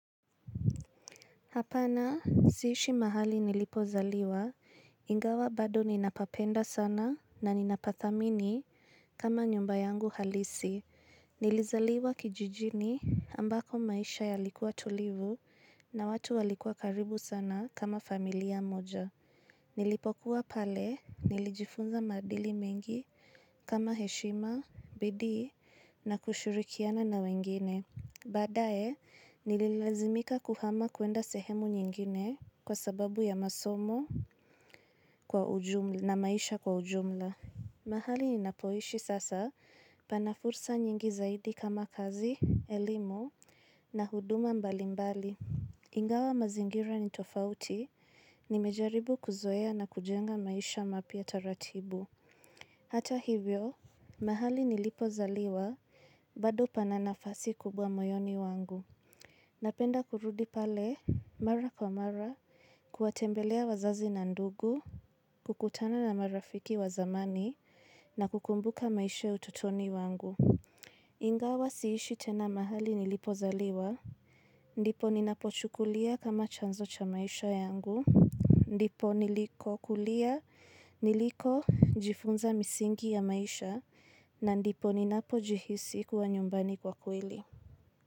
Hapana, siishi mahali nilipozaliwa, ingawa bado ninapapenda sana na ninapathamini kama nyumba yangu halisi. Nilizaliwa kijijini, ambako maisha yalikuwa tulivu na watu walikuwa karibu sana kama familia moja. Nilipokuwa pale, nilijifunza madili mengi kama heshima, bidii na kushurikiana na wengine. Badae, nililazimika kuhama kuenda sehemu nyingine, kwa sababu ya masomo na maisha kwa ujumla. Mahali ninapoishi sasa, pana fursa nyingi zaidi kama kazi, elimu na huduma mbalimbali. Ingawa mazingira ni tofauti, nimejaribu kuzoea na kujenga maisha mapya taratibu. Hata hivyo, mahali nilipozaliwa, bado pana nafasi kubwa moyoni wangu. Napenda kurudi pale, mara kwa mara, kuwatembelea wazazi na ndugu, kukutana na marafiki wa zamani, na kukumbuka maisha ya utotoni wangu. Ingawa siishi tena mahali nilipozaliwa, ndipo ninapochukulia kama chanzo cha maisha yangu. Ndipo niliko kulia, nilikojifunza misingi ya maisha, na ndipo ninapojihisi kuwa nyumbani kwa kweli.